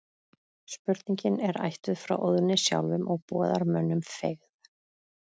Spurningin er ættuð frá Óðni sjálfum og boðar mönnum feigð.